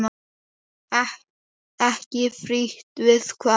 Ekki frítt við það!